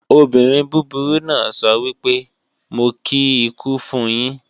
Obìnrin búburú náà sọ wípé "Mo kí ikú fun yín"